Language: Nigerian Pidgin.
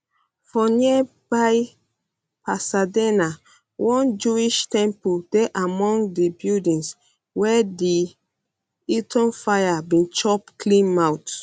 for nearby pasadena one jewish temple dey among di buildings wey di eaton fire bin chop clean mouth